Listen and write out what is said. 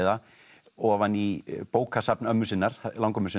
ofan í bókasafn ömmu sinnar langömmu sinnar